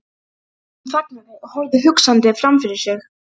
Hún þagnaði og horfði hugsandi framfyrir sig.